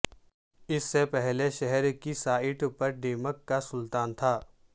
اس سے پہلے شہر کی سائٹ پر ڈیمک کا سلطان تھا